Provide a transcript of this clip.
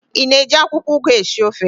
Ị na-eji akwụkwọụgụ esi ofe?